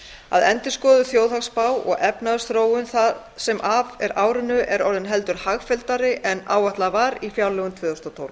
að endurskoðuð þjóðhagsspá og efnahagsþróunin það sem af er árinu er orðin heldur hagfelldari en áætlað var í fjárlögum tvö þúsund og tólf